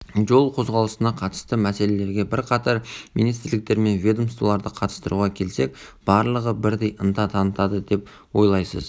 жол қозғалысына қатысты мәселелерге бірқатар министрліктер мен ведомстволарды қатыстыруға келсек барлығы бірдей ынта танытады деп ойлайсыз